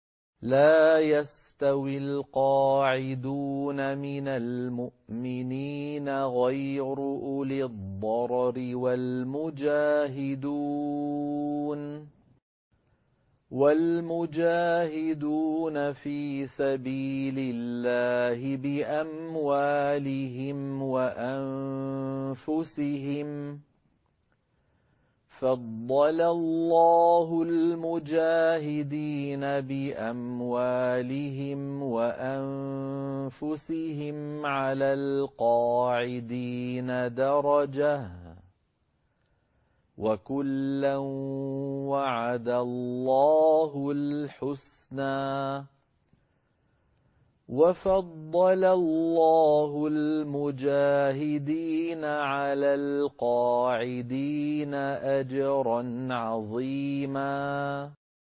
لَّا يَسْتَوِي الْقَاعِدُونَ مِنَ الْمُؤْمِنِينَ غَيْرُ أُولِي الضَّرَرِ وَالْمُجَاهِدُونَ فِي سَبِيلِ اللَّهِ بِأَمْوَالِهِمْ وَأَنفُسِهِمْ ۚ فَضَّلَ اللَّهُ الْمُجَاهِدِينَ بِأَمْوَالِهِمْ وَأَنفُسِهِمْ عَلَى الْقَاعِدِينَ دَرَجَةً ۚ وَكُلًّا وَعَدَ اللَّهُ الْحُسْنَىٰ ۚ وَفَضَّلَ اللَّهُ الْمُجَاهِدِينَ عَلَى الْقَاعِدِينَ أَجْرًا عَظِيمًا